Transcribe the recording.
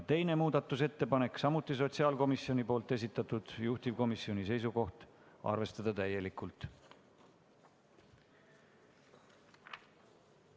Teine muudatusettepanek on samuti sotsiaalkomisjoni esitatud, juhtivkomisjoni seisukoht: arvestada seda täielikult.